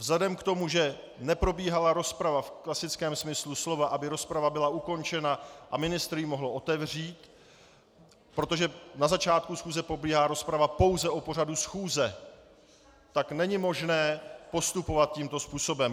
Vzhledem k tomu, že neprobíhala rozprava v klasickém smyslu slova, aby rozprava byla ukončena a ministr ji mohl otevřít - protože na začátku schůze probíhá rozprava pouze o pořadu schůze, tak není možné postupovat tímto způsobem.